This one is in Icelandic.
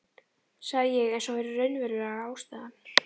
sagði ég eins og það væri raunverulega ástæðan.